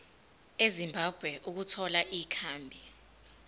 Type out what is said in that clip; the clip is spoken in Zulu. ezimbabwe ukuthola ikhambi